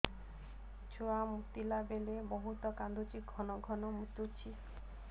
ଛୁଆ ମୁତିଲା ବେଳେ ବହୁତ କାନ୍ଦୁଛି ଘନ ଘନ ମୁତୁଛି